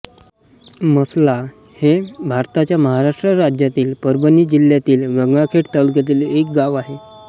मसला हे भारताच्या महाराष्ट्र राज्यातील परभणी जिल्ह्यातील गंगाखेड तालुक्यातील एक गाव आहे